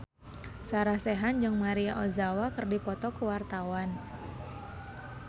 Sarah Sechan jeung Maria Ozawa keur dipoto ku wartawan